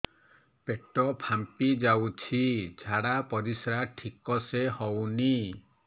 ପେଟ ଫାମ୍ପି ଯାଉଛି ଝାଡ଼ା ପରିସ୍ରା ଠିକ ସେ ହଉନି